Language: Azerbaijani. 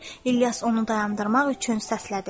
İlyas onu dayandırmaq üçün səslədi: